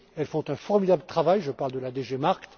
Elles font un formidable travail je parle de la DG MARKT